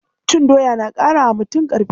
Cin doya na ƙara wa mutum ƙarfi.